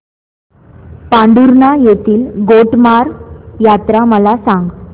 पांढुर्णा येथील गोटमार यात्रा मला सांग